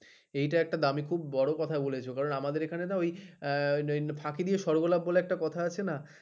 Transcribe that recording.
এটা এক্খটা ব দামি বড় কথা বলেছ কারণ আমাদের ওখানে না ঐ ফাঁকি দিয়ে সর্বলাভ বলে একটা কথা আছে না